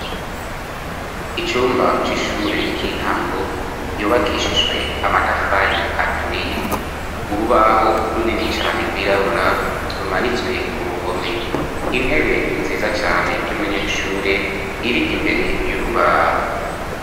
Icumba c'ishure ry'intango, yubakishijwe amatafari aturiye. Urubaho runini cane rwirabura, rumanitswe ku ruhome. Intebe nziza cane y'umunyeshure, iri imbere y'urubaho.